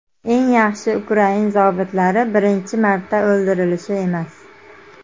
Eng yaxshi ukrain zobitlari birinchi marta o‘ldirilishi emas.